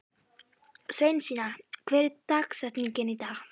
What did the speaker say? Sveinsína, hver er dagsetningin í dag?